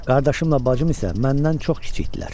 Qardaşım ilə bacım isə məndən çox kiçik idilər.